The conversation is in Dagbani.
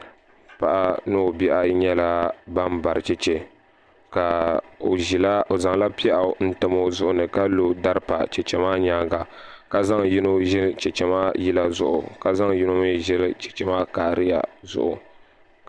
Paɣa ni o bihi ayi nyɛla ban bari chɛchɛ o zaŋla pɛɣu n tam o zuɣuni ka lo dari pa chɛchɛ maa nyaanga ka zaŋ yino ʒili chɛchɛ maa yila zuɣu ka zaŋ yino mi zili chɛchɛ maa kariya zuɣu.